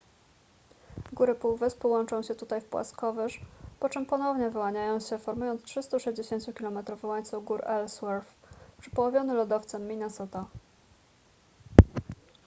góry półwyspu łączą się tutaj w płaskowyż po czym ponownie wyłaniają się formując 360-kilometrowy łańcuch gór ellsworth przepołowiony lodowcem minnesota